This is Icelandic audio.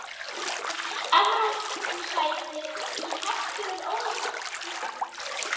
Evrópusæti í hættu, er starf Ólafs í hættu?